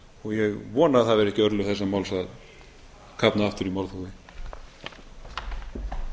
og ég vona að það verði ekki örlög þessa máls að kafna aftur í málþófi